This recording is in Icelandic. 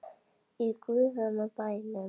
Í guðanna bænum.